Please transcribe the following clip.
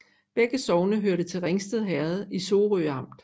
Begge sogne hørte til Ringsted Herred i Sorø Amt